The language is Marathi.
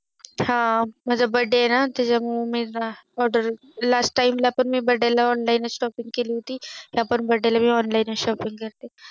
हा माझा Birthday आहे ना त्याच्या मुळे मी Order late time ला पण मी Online shopping केली होती या वेळेस पण मी online shopping करतेय